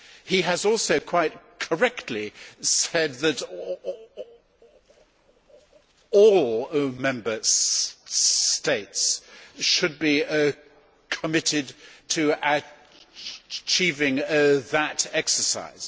He has also quite correctly said that all Member States should be committed to achieving that exercise.